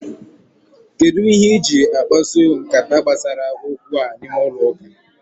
Kedụ ihe i jiri akpaso m nkata gbasara okwu a n'ime ụlọ ụka?